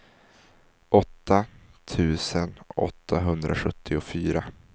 åtta tusen åttahundrasjuttiofyra